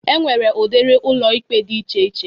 E nwere udiri ụlọikpe dị iche iche.